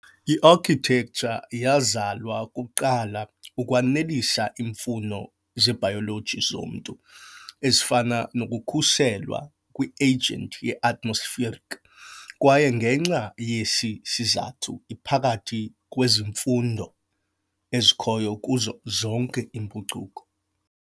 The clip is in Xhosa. I-Architecture yazalwa kuqala ukwanelisa iimfuno zebhayoloji zomntu ezifana nokukhuselwa kwi-agent ye-atmospheric, kwaye ngenxa yesi sizathu iphakathi kwezimfundo ezikhoyo kuzo zonke impucuko.